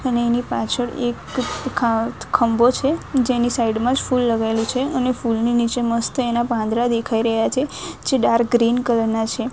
અને એની પાછળ એક ખા ખંભો છે જેની સાઈડ માં જ ફૂલ લગાવેલું છે અને ફૂલની નીચે મસ્ત એના પાંદરા દેખાઈ રહ્યા છે જે ડાર્ક ગ્રીન કલર ના છે.